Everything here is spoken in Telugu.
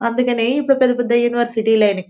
అందుకనే ఇప్పుడు పెద్ద పెద్ద యూనివర్సిటీ లైనాయి.